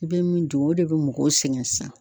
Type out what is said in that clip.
I bɛ min don o de bɛ mɔgɔw sɛgɛn sisan.